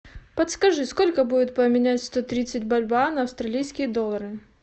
подскажи сколько будет поменять сто тридцать бальбоа на австралийские доллары